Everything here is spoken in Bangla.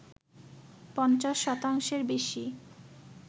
পঞ্চাশ শতাংশের বেশি